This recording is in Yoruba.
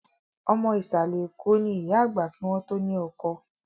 Ọmọ Ìsàlẹ̀ Eko ni ìyá àgbà kí wọn to ni ọkọ